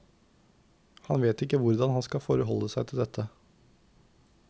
Han vet ikke hvordan han skal forholde seg til dette.